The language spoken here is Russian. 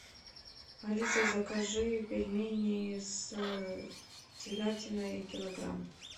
алиса закажи пельмени с телятиной килограмм